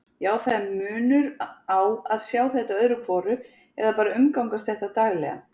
Já, það er munur á að sjá þetta öðru hvoru eða bara umgangast þetta daglega.